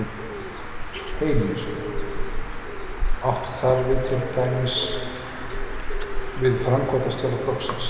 Heimir: Áttu þar við til dæmis við framkvæmdarstjóra flokksins?